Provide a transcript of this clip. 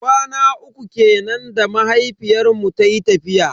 Kwana uku kenan da mahaifiyar mu tayi tafiya.